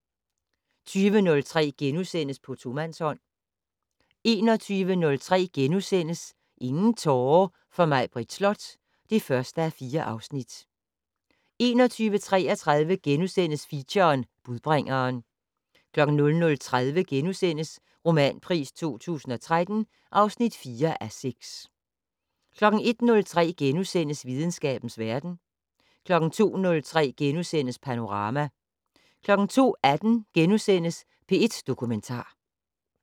20:03: På tomandshånd * 21:03: Ingen tårer for Maibritt Slot (1:4)* 21:33: Feature: Budbringeren * 00:30: Romanpris 2013 (4:6)* 01:03: Videnskabens verden * 02:03: Panorama * 02:18: P1 Dokumentar *